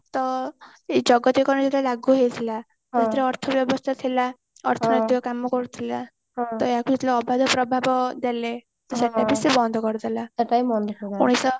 ତ ଏଇ ଜଗତୀକରଣ ଯେତେବେଳେ ଲାଗୁ ହେଇଥିଲା ଅର୍ଥ ବ୍ୟବସ୍ଥା ଥିଲା ଅର୍ଥନୈତିକ କାମ କରୁଥିଲା ତ ଏଠି ଯେତେବେଳେ ଅଭାବ ପ୍ରଭାବ ଦେଲେ ସବୁ କିଛି ବନ୍ଦ କରି ଦେଲା ମଣିଷ